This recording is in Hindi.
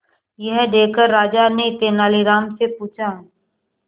यह देखकर राजा ने तेनालीराम से पूछा